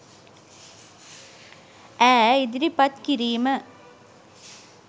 ඈ ඉදිරිපත් කිරීම